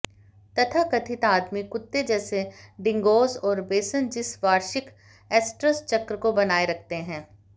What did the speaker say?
तथाकथित आदिम कुत्ते जैसे डिंगोज़ और बेसनजिस वार्षिक एस्ट्रस चक्र को बनाए रखते हैं